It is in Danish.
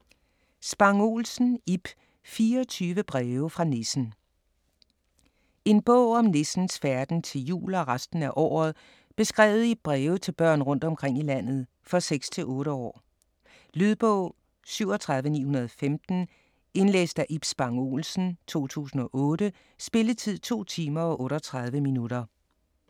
Spang Olsen, Ib: 24 breve fra nissen En bog om nissens færden til jul og resten af året, beskrevet i breve til børn rundt omkring i landet. For 6-8 år. Lydbog 37915 Indlæst af Ib Spang Olsen, 2008. Spilletid: 2 timer, 38 minutter.